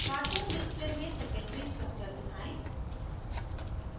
* cartoon cartoon display में secondary structure दिखाएँ